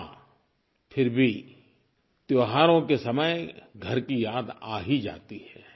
हाँ फिर भी त्योहारों के समय घर की याद आ ही जाती है